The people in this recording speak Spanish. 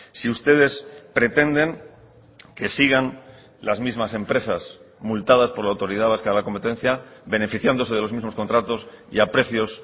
si ustedes pretenden que sigan las mismas empresas multadas por la autoridad vasca de la competencia beneficiándose de los mismos contratos y a precios